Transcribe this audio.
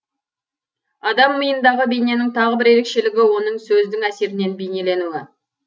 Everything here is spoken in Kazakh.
адам миындағы бейненің тағы бір ерекшілігі оның сөздің әсерінен бейнеленуі